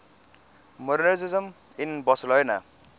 modernisme in barcelona